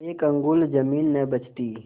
एक अंगुल जमीन न बचती